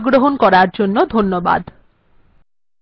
এই টিউটোরিয়াল্এ অংশগ্রহন করার জন্য ধন্যবাদ